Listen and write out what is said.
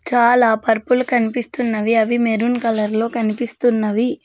చాలా పరుపులు కనిపిస్తున్నవి అవి మెరూన్ కలర్ లో కనిపిస్తున్నవి.